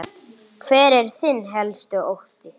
Hver er þinn helsti ótti?